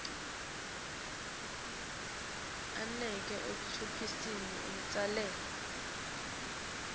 anake ekunciphiseni umtselela